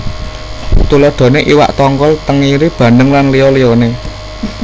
Tuladhané iwak tongkol tengiri bandeng lan liya liyané